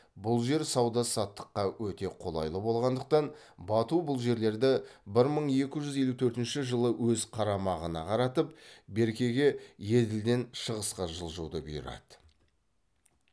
бұл жер сауда саттыққа өте қолайлы болғандықтан бату бұл жерлерді бір мың екі жүз елу төртінші жылы өз қарамағына қаратып беркеге еділден шығысқа жылжуды бұйырады